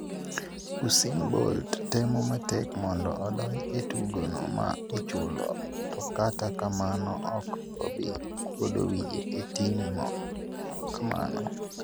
Usain Bolt, temo matek mondo odonj e tugo no ma ichulo to kata kamano, ok obi kuodo wiye e timo kamano